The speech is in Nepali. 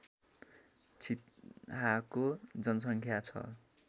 छितहाको जनसङ्ख्या छ